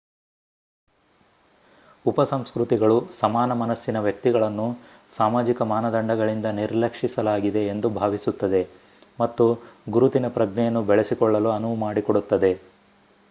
ಉಪಸಂಸ್ಕೃತಿಗಳು ಸಮಾನ-ಮನಸ್ಸಿನ ವ್ಯಕ್ತಿಗಳನ್ನು ಸಾಮಾಜಿಕ ಮಾನದಂಡಗಳಿಂದ ನಿರ್ಲಕ್ಷಿಸಲಾಗಿದೆ ಎಂದು ಭಾವಿಸುತ್ತದೆ ಮತ್ತು ಗುರುತಿನ ಪ್ರಜ್ಞೆಯನ್ನು ಬೆಳೆಸಿಕೊಳ್ಳಲು ಅನುವು ಮಾಡಿಕೊಡುತ್ತದೆ